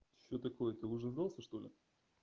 что такое ты уже сдался что ли